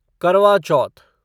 करवा चौथ